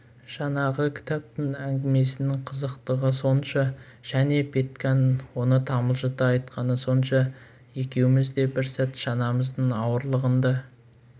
жаңағы кітаптың әңгімесінің қызықтығы сонша және петьканың оны тамылжыта айтқаны сонша екеуміз де бір сәт шанамыздың ауырлығын да